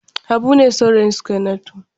Habu ne saurayin Sukainatu.